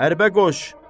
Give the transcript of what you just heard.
Hərbə qoş!